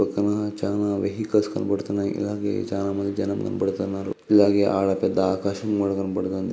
పక్కన చానా వెహికల్స్ కనపడుతున్నాయ్. అలాగే చానా మంది జనాలు కనపడ్తున్నారు. అలాగే ఆడ పెద్ద ఆకాశం కూడా కనపడ్తుంది.